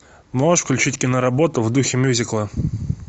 можешь включить киноработу в духе мюзикла